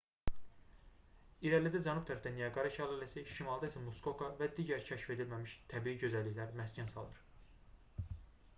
i̇rəlidə cənub tərəfdə niaqara şəlaləsi şimalda isə muskoka və digər kəşf edilməmiş təbii gözəlliklər məskən salır